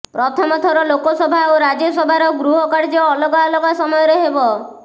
ପ୍ରଥମ ଥର ଲୋକସଭା ଓ ରାଜ୍ୟସଭାର ଗୃହ କାର୍ଯ୍ୟ ଅଲଗା ଅଲଗା ସମୟରେ ହେବ